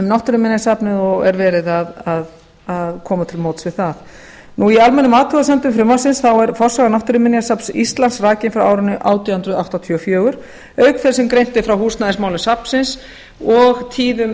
náttúruminjasafnið og er verið að koma til móts við það í almennum athugasemdum frumvarpsins er forsaga náttúruminjasafns íslands rakin frá árinu átján hundruð áttatíu og fjögur auk þess sem greint er frá húsnæðismálum safnsins og tíðum